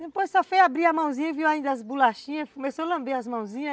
Depois só foi abrir a mãozinha e viu ainda as bolachinhas, começou a lamber as mãozinhas.